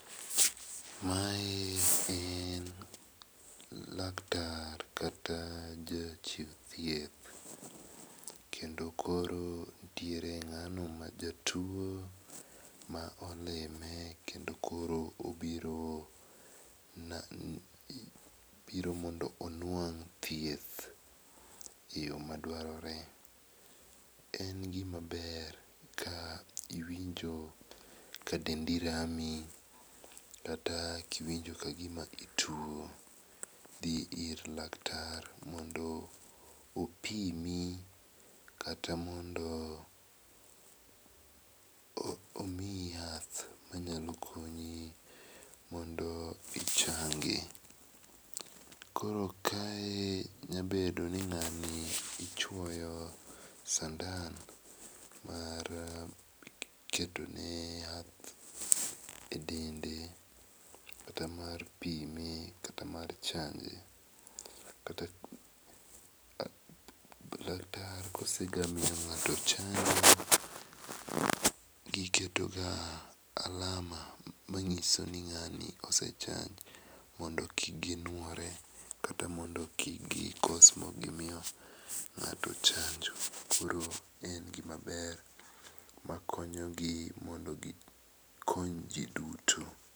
Mae en laktar kata ja chiw thieth kendo koro nitiere ng'ano ma jatuo ma olimo kendo koro obiro mondo onwang thieth e yo ma dwarore. En gi ma ber ka iwinjo ka dendi rami kata ki iwinjo ka gi ma ituo dhi ir laktar, mondo opimi kata mondo omiyi yath ma nyalo konyi modo ichangi. Koro kae nya bedo ni ngani ichuoyo sandan mar keto ne yath e dende kata mar pime ,kata mar chanje, kata laktar ka osega miyo ng'ato chanjo iketo ga alama ma ma ngiso ni ngani osechanj mondo kik gi nuore kata mondo kik gi kos ma ok gi miyo ng'ato chanjo koro en gi ma ber ma konyo gi mondo gi kony ji duto.